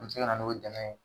Mun bɛ se ka na n'o dɛmɛ ye.